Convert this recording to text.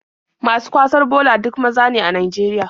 Masu kwasar bola duk maza ne a Najeriya.